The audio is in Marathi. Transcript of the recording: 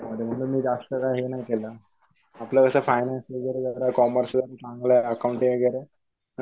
म्हणून मी जास्त काय हे नाही केलं. आपल्यावरच्या फायनान्स ने जर कॉमेर्सिल चांगलंय अकाउंट वगैरे.